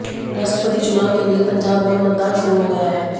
राष्ट्रपति चुनाव के लिए पंजाब में मतदान शुरू हो गया है